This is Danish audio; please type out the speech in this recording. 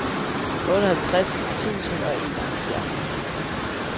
otteoghalvtreds tusind og enoghalvfjerds